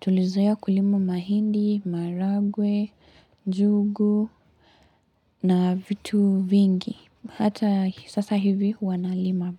Tulizoea kulima mahindi, maharagwe, njugu na vitu vingi. Hata hii sasa hivi huwa nalima.